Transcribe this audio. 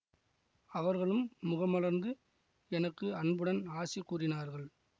அவர்களும் முகமலர்ந்து எனக்கு அன்புடன் ஆசி கூறினார்கள்